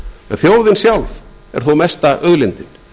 þjóðin sjálf er þó mesta auðlindin